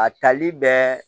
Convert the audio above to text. A tali bɛ